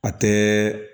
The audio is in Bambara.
A tɛ